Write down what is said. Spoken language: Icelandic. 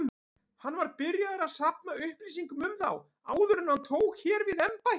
Hann var byrjaður að safna upplýsingum um þá, áður en hann tók hér við embætti.